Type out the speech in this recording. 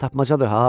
Tapmacadır ha!